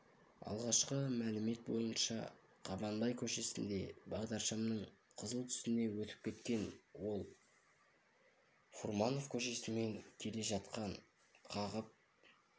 алғашқы мәлімет бойынша қабанбай көшесінде бағдаршамның қызыл түсіне өтіп кеткен ол фурманов көшесімен келе жатқан қағып